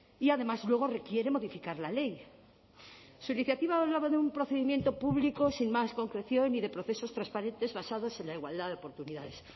y además luego requiere modificar la ley su iniciativa hablaba de un procedimiento público sin más concreción y de procesos transparentes basados en la igualdad de oportunidades